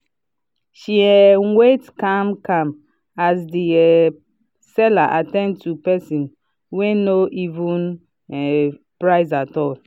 she um wait calm-calm as the um seller at ten d to person person wey no even um price at all.